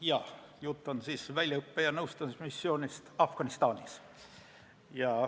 Jah, jutt on väljaõppe- ja nõustamismissioonist Afganistanis.